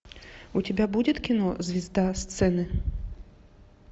у тебя будет кино звезда сцены